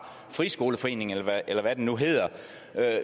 friskoleforeningen eller hvad den nu hedder